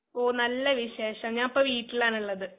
ഓ നല്ലവിശേഷം ഞാപ്പവീട്ടിലാണുള്ളത്.